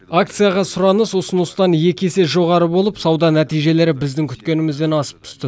акцияға сұраныс ұсыныстан екі есе жоғары болып сауда нәтижелері біздің күткенімізден асып түсті